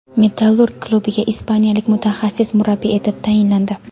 "Metallurg" klubiga ispaniyalik mutaxassis murabbiy etib tayinlandi.